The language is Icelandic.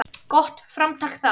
Gott framtak það.